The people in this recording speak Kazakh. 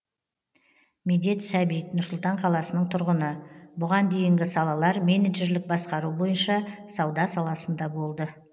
медет сәбит нұр сұлтан қаласының тұрғыны бұған дейінгі салалар менеджерлік басқару бойынша сауда саласында болды